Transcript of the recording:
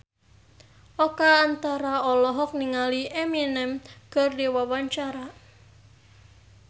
Oka Antara olohok ningali Eminem keur diwawancara